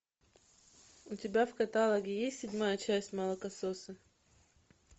у тебя в каталоге есть седьмая часть молокососы